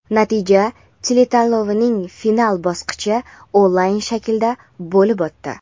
natija teletanlovining final bosqichi onlayn shaklda bo‘lib o‘tdi.